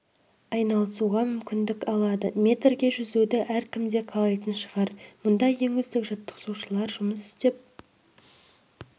айналысуға мүмкіндік алады метрге жүзуді әркім де қалайтын шығар мұнда ең үздік жаттықтырушылар жұмыс істеп